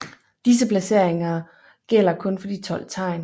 Disses placering gælder kun for de 12 tegn